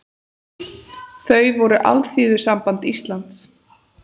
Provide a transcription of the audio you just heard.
Þau voru Alþýðusamband Íslands